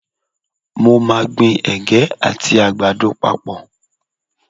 Mo máa gbin Ẹ̀gẹ́ àti àgbàdo papọ̀.